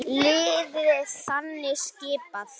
Liðið er þannig skipað